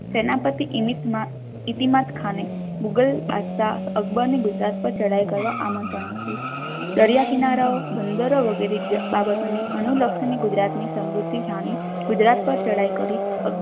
સેનાપતિ ઈમીતામ ઈતીમાત ખાન એ મુઘલ બાદશાહ અકબર ને ગુજરાત પાર ચઢાઈ કરવા આમંત્રણ આપ્યુ દરિયાકિનારા બંદર વગરે અનુલક્ષીક ગુજરાત ની સમૃદ્ધિ જાણી ગુજરાત પાર ચઢાઈ કરી.